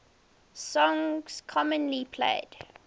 songs commonly played